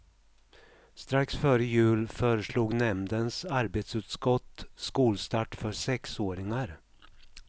Strax före jul föreslog nämndens arbetsutskott skolstart för sexåringar.